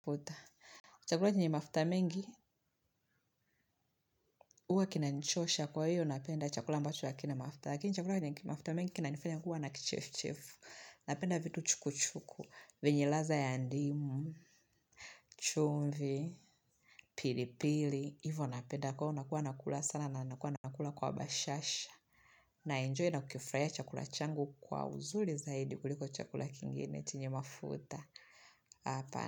Chakula chenye mafuta mingi, huwa kinanichosha kwa hiyo napenda chakula ambacho hakina mafuta. Lakini chakula chenye mafuta mengi kinanifanya kuwa na kichefuchefu. Napenda vitu chukuchuku, venye ladha ya ndimu, chumvi, pilipili. Hivo napenda, kwa hivyo nakuwa nakula sana na nakuwa napakula kwa bashasha. Na enjoy na kukifurahia chakula changu kwa uzuri zaidi kuliko chakula kingine chenye mafuta, hapana.